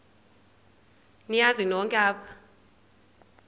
niyazi nonk apha